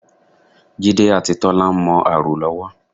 Jídé àti Tọ́lá ń mọ ààrò lọ́wọ́